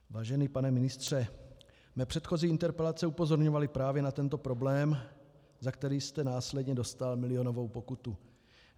Vážený pane ministře, mé předchozí interpelace upozorňovaly právě na tento problém, za který jste následně dostal milionovou pokutu.